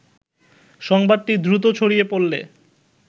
সংবাদটি দ্রুত ছড়িয়ে পড়লে